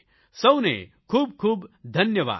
સૌને ખૂબ ખૂબ ધન્યવાદ